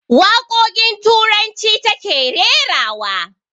Waƙoƙin turanci ta ke rerawa